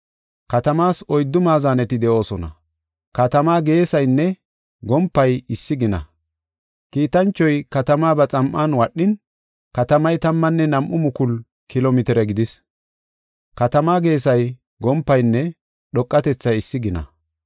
Katamaas oyddu maazaneti de7oosona; katamaa geesaynne gompay issi gina. Kiitanchoy katamaa ba xam7an wadhin, katamay tammanne nam7u mukulu kilo mitire gidis; katamaa geesay, gompaynne dhoqatethay issi gina.